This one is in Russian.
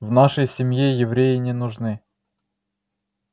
в нашей семье евреи не нужны